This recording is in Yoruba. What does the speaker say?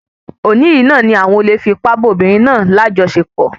Òní yìí ni àwọn olè fi ipá bá obìnrin náà lajọsepọ